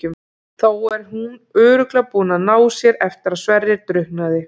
Þá er hún örugglega búin að ná sér eftir að Sverrir drukknaði.